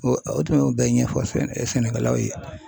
O tun y'o bɛɛ ɲɛfɔ sɛnɛkɛlaw ye